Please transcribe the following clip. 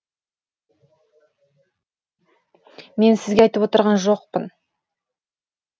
мен сізге айтып отырған жоқпын